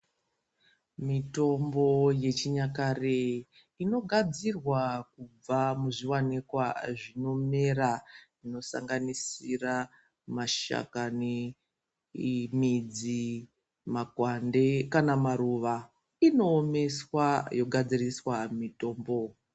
Mitombo yechinyakare inogadzirwa kubva muzviwanikwa zvinomera kusanganisira mashakami, midzi ,makwande kana maruwa inoomeswa yogadziriswa mitombo.